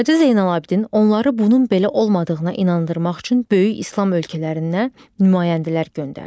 Hacı Zeynalabdin onları bunun belə olmadığına inandırmaq üçün böyük İslam ölkələrinə nümayəndələr göndərdi.